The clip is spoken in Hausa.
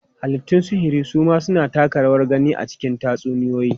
Halittun sihiri su ma suna taka rawar gani a cikin tatsuniyoyi.